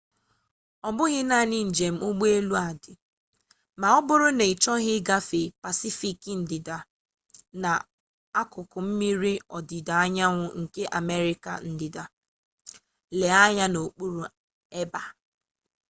ọ bụghị naanị njem ụgbọelu a dị ma ọ bụrụ na ị chọghị igafe pasifik ndịda na akụkụ mmiri ọdịda anyanwụ nke amerịka ndịda. lee anya n'okpuru ebe a